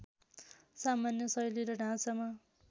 सामान्य शैली र ढाँचामा